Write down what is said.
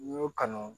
N'i y'o kanu